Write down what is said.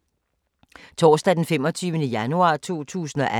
Torsdag d. 25. januar 2018